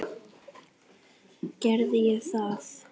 Gerði ég það?